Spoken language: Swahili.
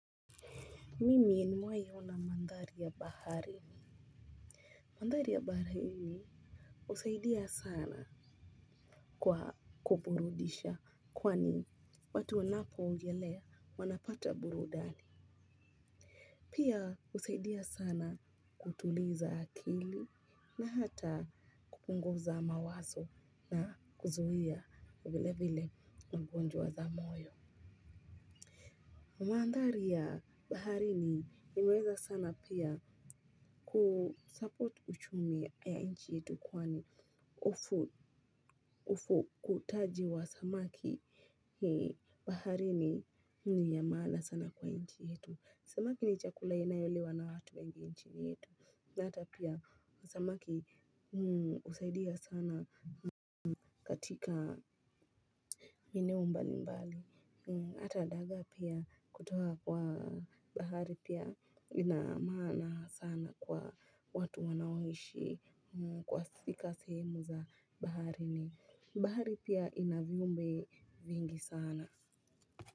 Mimi nimewahi ona magari ya baharini. Magari ya baharini husaidia sana kwa kuburudisha kwani watu wanapoogelea wapata burudani. Pia husaidia sana kutuliza akili na hata kupunguza mawazo na kuzuia vile vile mgonjwa za moyo. Mandhari ya baharini imeweza sana pia kusupport uchumi ya nchi yetu kwani ufukutaji wa samaki baharini ni ya maana sana kwa nchi yetu. Samaki ni chakula inayoliwa na watu wengi nchini yetu. Na hata pia samaki husaidia sana katika eneo mbalimbali. Hata dagaa pia kutoa kwa bahari pia ina maana sana kwa watu wanaoishi katika sehemu za baharini. Bahari pia ina viumbe vingi sana.